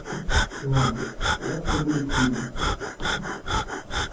ладно завтра будет видно